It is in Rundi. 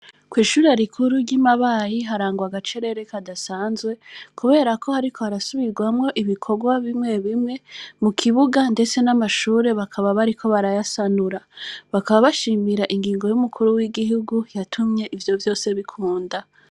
Kw' ishure rikuru ry' i Mabayi, harangwa agacerere kadasanzwe, kubera ko bariko hariko harasubirwamwo ibikorwa bimwe bimwe mu kibuga, ndetse n' amashure bakaba bariko barayasanura. Bakaba bashima ingingo y' umukuru w' igihugu yatumye ivyo vyose bikunda.